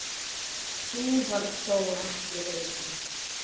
Sú varð þó ekki raunin.